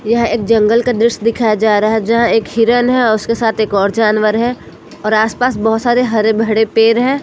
यह एक जंगल का दृश्य दिखाया जा रहा है जहाँ एक हिरन है और उसके साथ एक और जानवर है और आस पास बहोत सारे हरे भडे पेर हैं।